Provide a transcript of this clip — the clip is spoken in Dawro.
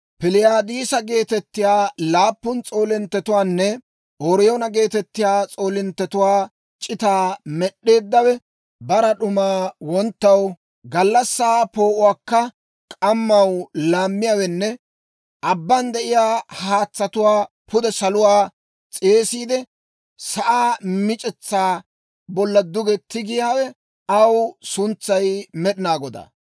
Piliyaadisa geetettiyaa laappun s'oolinttetuwaanne Ooriyoona geetettiyaa s'oolinttetuwaa c'itaa med'd'eeddawe, bara d'umaa wonttaw, gallassaa poo'uwaakka k'ammaw laammiyaawenne abban de'iyaa haatsatuwaa pude saluwaa s'eesiide, sa'aa mic'etsaa bolla duge tigiyaawe, aw suntsay Med'inaa Godaa.